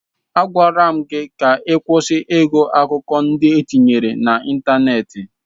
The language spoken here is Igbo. Agwara m gị ka ị kwụsị ịgụ akụkọ ndị e tinyere n'ịntanetị!